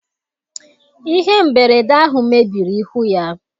ihe mberede ahụ mebiri ihu ya.